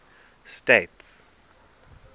states